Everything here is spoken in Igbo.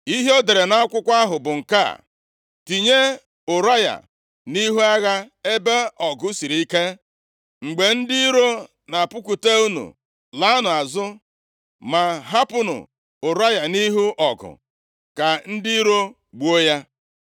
Ihe ọ dere nʼakwụkwọ ahụ bụ nke a, “Tinye Ụraya nʼihu agha ebe ọgụ siri ike. Mgbe ndị iro na-apụkwute unu, laanụ azụ, ma hapụnụ Ụraya nʼihu ọgụ ka ndị iro gbuo ya.”